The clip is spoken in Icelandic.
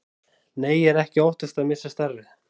Nei, ég er ekki að óttast að missa starfið.